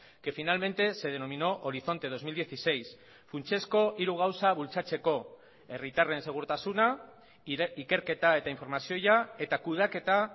que finalmente se denominó horizonte dos mil dieciséis funtsezko hiru gauza bultzatzeko herritarren segurtasuna ikerketa eta informazioa eta kudeaketa